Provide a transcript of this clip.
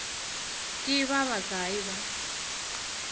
ke ba ba kae ba